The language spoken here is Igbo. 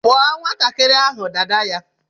Kpụọ nwatakịrị ahụ dada ya!